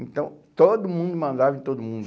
Então, todo mundo mandava em todo mundo.